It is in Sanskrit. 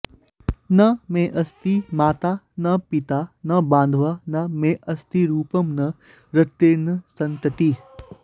न मेऽस्ति माता न पिता न बान्धवा न मेऽस्ति रूपं न रतिर्न सन्ततिः